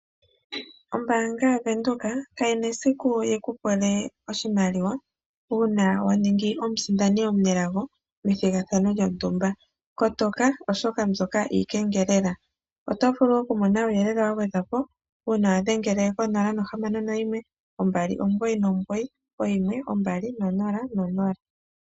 Ombaanga ya venduka kayina esiku yikupule oshimaliwa uuna waningi omusindani omunelago methigathano lyontumba. Kotoka oshoka mbyoka iikengelela. Otovulu okumona nuuyelele wa gwedhwapo uuna wadhengele ko 061 299 1200.